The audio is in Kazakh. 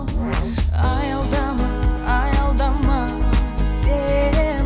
аялдама аялдама сен